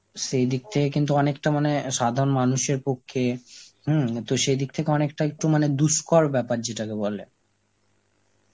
সেই দিক থেকে কিন্তু অনেকটা মনে হয় অ্যাঁ সাধারণ মানুষের পক্ষে, হম তো সেই দিক থেকে অনেকটা একটু মানে দুষ্কর ব্যাপার যেটাকে বলে.